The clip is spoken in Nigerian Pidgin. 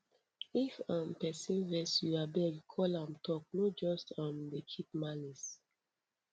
if um pesin vex you abeg call am talk no just um dey keep malice